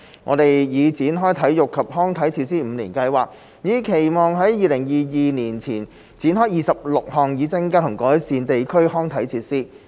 我們已展開體育及康樂設施五年計劃，以期在2022年前展開26項，以增加和改善地區康體設施。